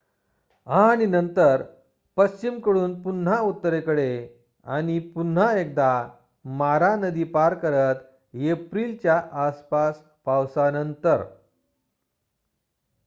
आणि नंतर पश्चिमकडून पुन्हा उत्तरेकडे पुन्हा एकदा मारा नदी पार करत एप्रिलच्या आसपास पावसानंतर